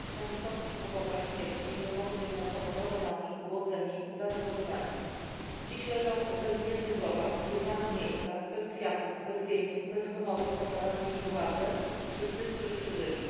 W nazistowskich obozach śmierci Romowie byli masowo mordowani, głodzeni, zagazowywani. Dziś leżą w bezimiennych grobach, w nieznanych miejscach, bez kwiatów, bez wieńców, bez honorów oddawanych przez władze i przez tych, którzy przeżyli.